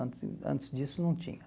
Antes antes disso não tinha.